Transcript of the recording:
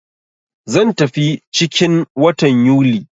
Zan tafi ciki 'n watan Yuli.